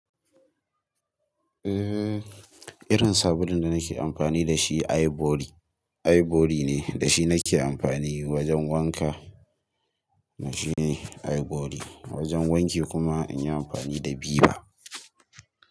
Eh, irin sabulun da nake amfani da shi ivory, ivory ne da shi nake amfani wajen wanka. Na shi ne ivory. Wajen wanki kuma in yi amfani da ViVa.